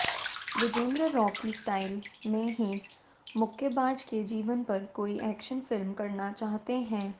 Vijender Rocky style में ही मुक्केबाज के जीवन पर कोई एक्शन फिल्म करना चाहते हैं